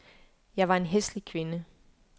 Jeg var en hæslig kvinde.